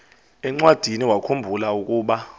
encwadiniwakhu mbula ukuba